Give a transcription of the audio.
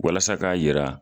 Walasa ka yira